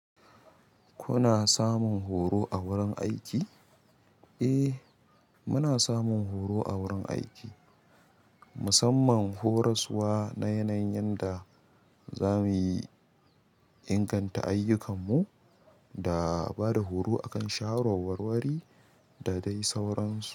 Kuna samun horo a wurin aiki? Eh, muna samun horo a wurin aiki, musamman horaswa na yanayin yadda zamuyi inganta ayyukanmu da bada horo akan shawarwarwari da dai sauransu.